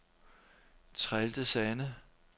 Trelde Sande